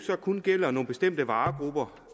kun gælder nogle bestemte varegrupper